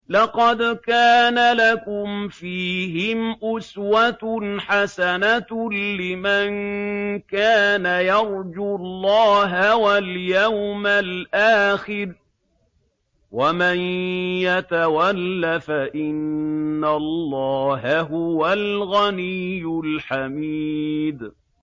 لَقَدْ كَانَ لَكُمْ فِيهِمْ أُسْوَةٌ حَسَنَةٌ لِّمَن كَانَ يَرْجُو اللَّهَ وَالْيَوْمَ الْآخِرَ ۚ وَمَن يَتَوَلَّ فَإِنَّ اللَّهَ هُوَ الْغَنِيُّ الْحَمِيدُ